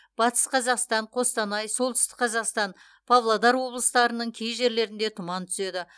батыс қазақстан қостанай солтүстік қазақстан павлодар облыстарының кей жерлерінде тұман түседі